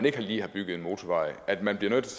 ikke lige har bygget motorvej at man bliver nødt til